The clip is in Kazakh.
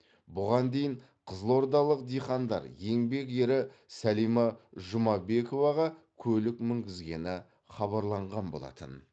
бұған дейін қызылордалық диқандар еңбек ері сәлима жұмабековаға көлік мінгізгені хабарланған болатын